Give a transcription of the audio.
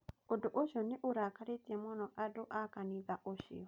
Ũndũ ũcio nĩ ũrakaritie mũno andũ a kanitha ũcio